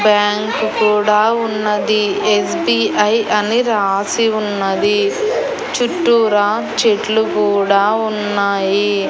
Bank కూడా ఉన్నది SBI అని రాసి ఉన్నది చుట్టూరా చెట్లు కూడా ఉన్నాయి.